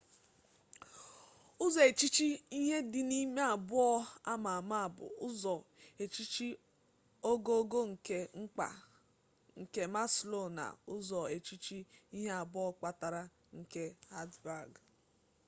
uzo-echiche ihe-di_n’ime abuo ama ama bu uzo-echiche ogogo nke mkpa nke maslow na uzo-echiche ihe abuo kpatara nke hertzberg